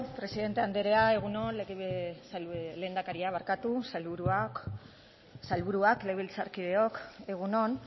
presidente andrea egun on lehendakaria sailburuak legebiltzarkideok egun on